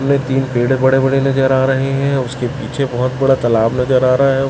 में तीन पेड़ बड़े बड़े नजर आ रहे हैं उसके पीछे बहोत बड़ा सा तलाब नजर आ रहा है।